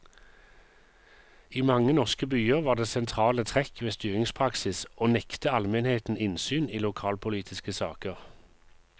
I mange norske byer var det sentrale trekk ved styringspraksis å nekte almenheten innsyn i lokalpolitiske saker.